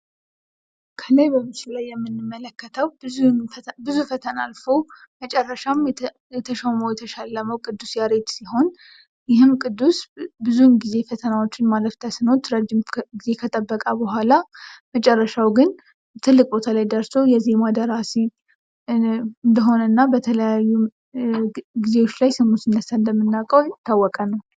ከላይ በምስሉ ላይ የምንመለከተው ብዙ ፈተና አልፎ መጨረሻም የተሾመው የተሸለመው ቅዱስ ያሬድ ሲሆን ይህም ቅዱስ ብዙውን ጊዜ ፈተናዎችን ማለፍ ተስኖት ረጅም ጊዜ ከጠበቀ በኋላ መጨረሻው ግን ትልቅ ቦታ ላይ ደርሶ የዜማ ደራሲ እንደሆነና በተለያዩ ጊዜዎች ላይ ስሙ ሲነሳ እንደምናውቀው የታወቀ ነው።